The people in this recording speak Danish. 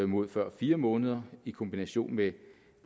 mod før fire måneder i kombination med